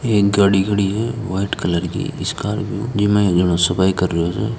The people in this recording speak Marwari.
एक गाडी खड़ी है व्हाइट कलर की इस कार को जणो सफाई कर रहे है।